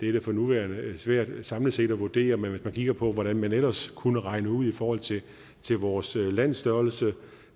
er det for nuværende svært samlet set at vurdere men hvis man kigger på hvordan man ellers kunne regne det ud i forhold til til vores lands størrelse